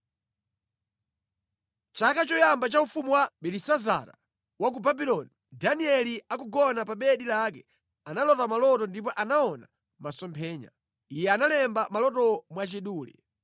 Chaka choyamba cha ufumu wa Belisazara wa ku Babuloni, Danieli akugona pa bedi lake analota maloto ndipo anaona masomphenya. Iye analemba malotowo mwachidule.